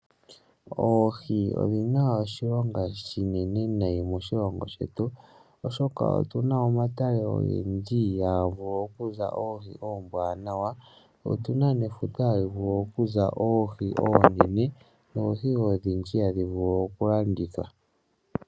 Oohi odhi na oshilonga oshinene noonkondo moshilongo shetu, oshoka otu na omatale ogendji hamu vulu okuza oohi oombwaanawa. Otu na nefuta hali vulu okuza oohi oonene noohi odhindji hadhi vulu okulandithwa.